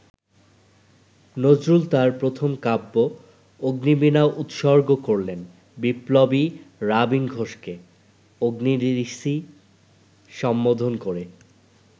নজরুল তাঁর প্রথম কাব্য অগ্নিবীনা উৎসর্গ করলেন বিপ্লবী রাবীন ঘোষকে, অগ্নি-ঋষি সম্বোধন করে।